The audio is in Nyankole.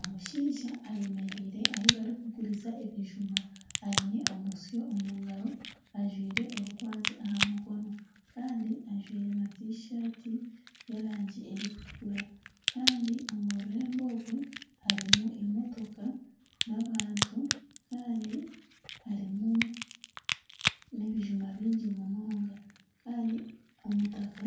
Omushaija eyemereire ahu barikuguriza ebijuma aine omusyo omu ngaaro, ajwaire orukwanzi aha mukono kandi ajwire na tishati y'erangi erikutukura kandi omu rurembo orwo harimu emotoka n'abantu kandi harimu n'ebijuma bingi munonga kandi omutaka